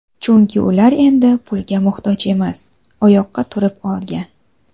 Chunki ular endi pulga muhtoj emas, oyoqqa turib olgan.